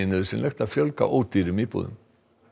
nauðsynlegt að fjölga ódýrum íbúðum